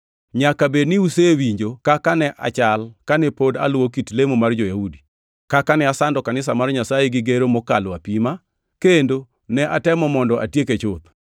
Nyaka bed ni usewinjo kaka ne achal kane pod aluwo kit lemo mar jo-Yahudi, kaka ne asando kanisa mar Nyasaye gi gero mokalo apima, kendo ne atemo mondo atieke chuth.